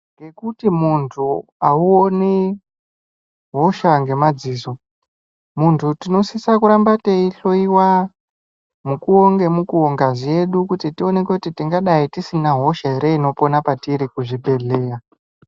Ngekuti muntu auoni hosha ngemadziso muntu tinosisa kuramba teihloiwa mukuwo ngemukuwo ngazi yedu kuti tioneke kuti tingadai tisina hosha ere inopona patiri kuzvibhedhleya.